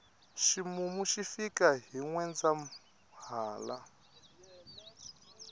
ximumu xi fika hi nwendzahala